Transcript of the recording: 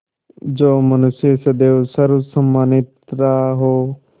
जो मनुष्य सदैव सर्वसम्मानित रहा हो